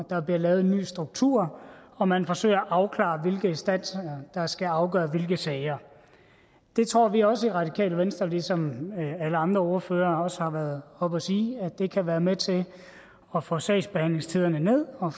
der bliver lavet en ny struktur og man forsøger at afklare hvilke instanser der skal afgøre hvilke sager det tror vi også i radikale venstre ligesom alle andre ordførere også har været oppe at sige kan være med til at få sagsbehandlingstiderne ned og